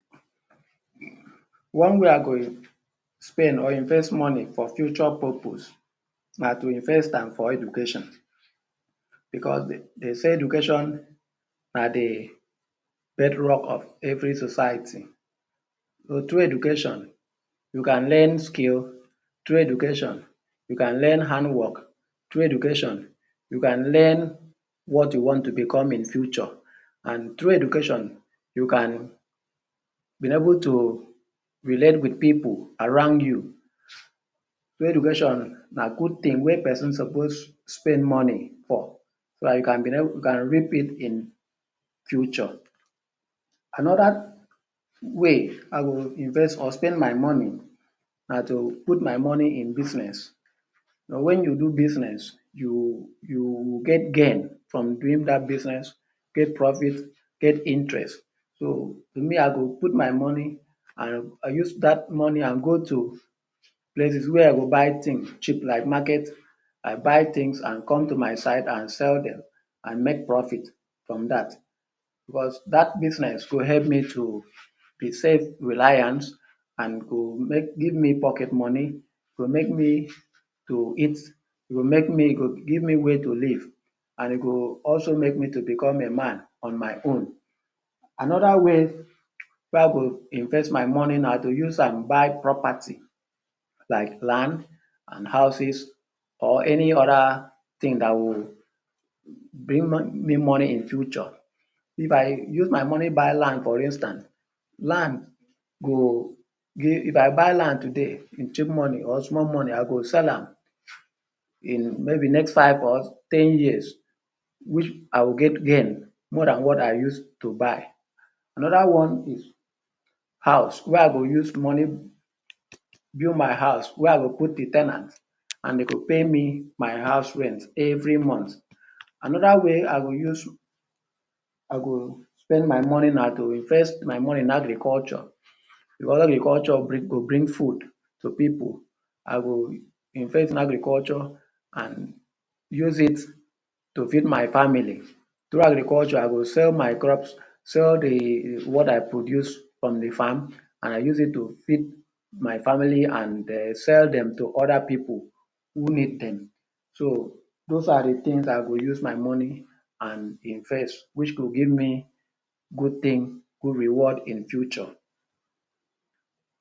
One way I go spend or invest money for future purpose na to invest am for education because dey say education na de bed rock of every society so through education you can learn skill through education you can learn hand work through education you can learn what you want to become in future and through education you can be able to relate wit pipu around you so education na good tin wey person suppose spend money for so that you can be able to you can reap it in future another way I go invest or spend my money na to put my money in business when you do business you you, you get gain from doing that business get profit get interest so me I go put my money and use that money and go to places wey I go buy tins cheap like market I buy tins and come to my side and sell and make profit from that because that business go help me to be self reliant and to give me pocket money to make me to eat to make me to give me way to live and e go also make me to become a man on my own another way wey I go invest my money na to use am buy property like land and houses or any other tin that would bring me money in future if I use my money buy land for instant land go give if I buy land today wit cheap money or small money I go sell am in maybe next five or ten years which I would get gain more than what I use to buy another one is house wey I go use money build my house wey I go put de ten ant and dey go pay me my house rent every month another way I go spend my money na to spend my money in agriculture because agriculture go bring food to pipu I go invest in agriculture and use it to feed my family through agriculture I go sell my crops sell the what I produce on my farm and use it to feed my family and sell dem to other pipu who need dem those are de tins I will use my money and invest which go give me good tins good reward in future.